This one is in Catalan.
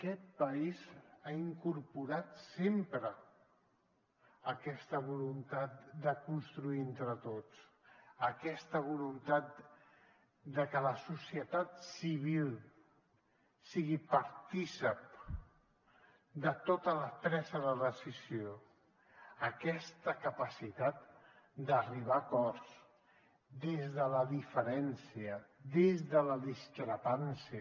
aquest país ha incorporat sempre aquesta voluntat de construir entre tots aquesta voluntat de que la societat civil sigui partícip de tota la presa de decisió aquesta capacitat d’arribar a acords des de la diferència des de la discrepància